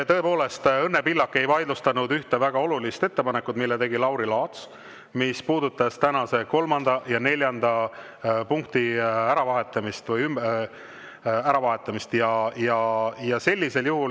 Tõepoolest, Õnne Pillak ei vaidlustanud ühte väga olulist ettepanekut, mille tegi Lauri Laats ja mis puudutas tänase kolmanda ja neljanda punkti äravahetamist.